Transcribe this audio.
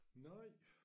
Nej